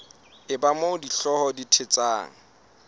eba moo dihlooho di thetsang